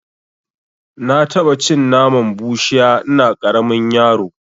Na taɓa cin naman bushiya ina ƙaramin yaro